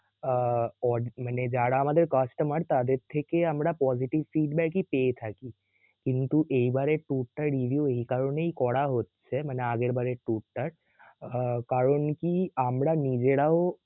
আহ audit মানে যারা আমাদের customer তাদের থেকে আমরা positive feedback ই পেয়ে থাকি কিন্তু এইবারের tour টার review এই কারণেই করা হচ্ছে মানে আগেরবারের tour টার আহ কারণ কি আমরা নিজেরাও